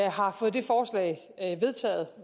har fået det forslag vedtaget